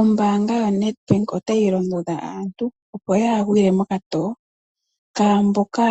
Ombanga yoNedbank otayi londodha aantu opo kaya gwile mokato kaa mboka